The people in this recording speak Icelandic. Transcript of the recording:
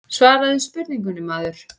Svaraðu spurningunni maður.